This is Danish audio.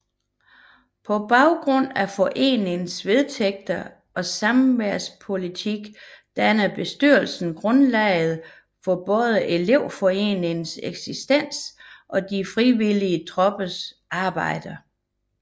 På baggrund af foreningens vedtægter og samværspolitik danner bestyrelsen grundlaget for både elevforeningens eksistens og de frivillige troppers arbejde